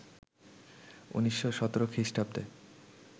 ১৯১৭ খ্রিষ্টাব্দে